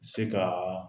Se ka